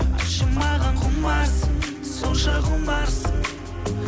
айтшы маған құмарсың сонша құмарсың